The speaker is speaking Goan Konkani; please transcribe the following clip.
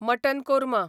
मटन कोर्मा